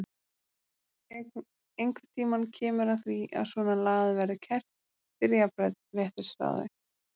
Einhvern tímann kemur að því að svona lagað verður kært fyrir jafnréttisráði.